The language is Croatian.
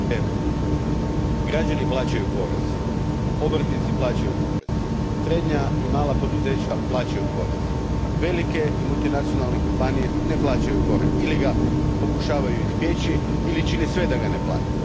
Gospodine predsjedniče, građani plaćaju porez, obrtnici plaćaju porez, srednja i mala poduzeća plaćaju porez. Velike i multinacionalne kompanije ne plaćaju porez ili ga pokušavaju izbjeći ili čine sve da ga ne plate.